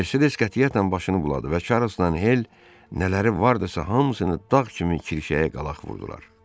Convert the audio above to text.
Mersedes qətiyyətlə başını buladı və Çarlzla Hel nələri vardısa hamısını dağ kimi kirşəyə qalaq vurdular.